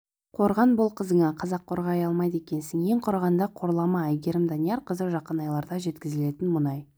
қорған бол қызыңа қазақ қорғай алмайды екенсің ең құрығанда қорлама әйгерім даниярқызы жақын айларда жеткізілетін мұнай